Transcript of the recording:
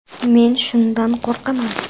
Men shundan qo‘rqaman.